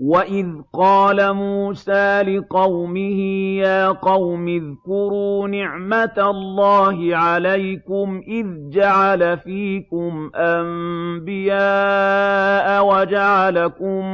وَإِذْ قَالَ مُوسَىٰ لِقَوْمِهِ يَا قَوْمِ اذْكُرُوا نِعْمَةَ اللَّهِ عَلَيْكُمْ إِذْ جَعَلَ فِيكُمْ أَنبِيَاءَ وَجَعَلَكُم